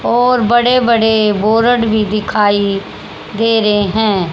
और बड़े बड़े बोरड भी दिखाई दे रहे हैं।